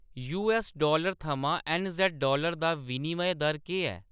US dollar थमां NZ dollar दा विनिमय दर केह् ऐ